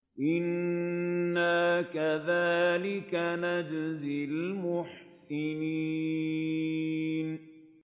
إِنَّا كَذَٰلِكَ نَجْزِي الْمُحْسِنِينَ